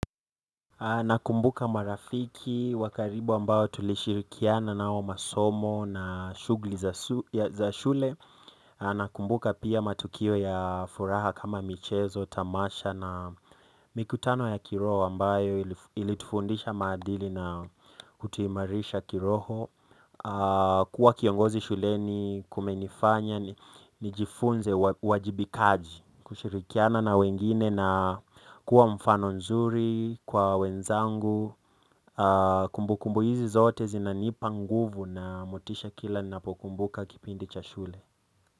Nakumbuka marafiki wa karibu ambao tulishirikiana nao masomo na shughuli za shule nakumbuka pia matukio ya furaha kama michezo, tamasha na mikutano ya kiroho ambayo ilitufundisha maadili na kutuimarisha kiroho kuwa kiongozi shule ni kumenifanya nijifunze uwajibikaji kushirikiana na wengine na kuwa mfano mzuri kwa wenzangu kumbukumbu hizi zote zinanipa nguvu na motisha kila ninapokumbuka kipindi cha shule.